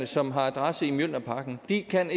som har adresse i mjølnerparken ikke kan